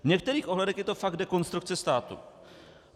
V některých ohledech to je fakt dekonstrukce státu.